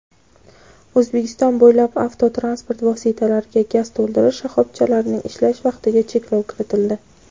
O‘zbekiston bo‘ylab avtotransport vositalariga gaz to‘ldirish shoxobchalarining ishlash vaqtiga cheklov kiritildi.